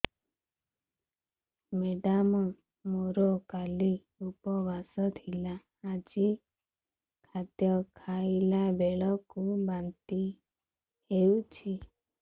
madam ମୋର କାଲି ଉପବାସ ଥିଲା ଆଜି ଖାଦ୍ୟ ଖାଇଲା ବେଳକୁ ବାନ୍ତି ହେଊଛି